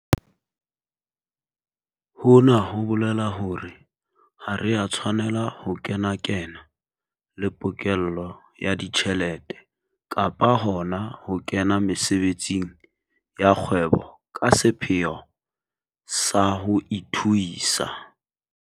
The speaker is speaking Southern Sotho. Hona ho bolela hore ha re a tshwanela ho kenakenana le pokello ya ditjhelete kapa hona ho kena mesebetsing ya kgwebo ka sepheo sa ho ithuisa.